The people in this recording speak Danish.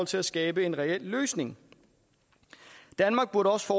til at skabe en reel løsning danmark burde også